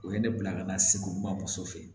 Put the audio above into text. O ye ne bila ka na segu kuma muso fɛ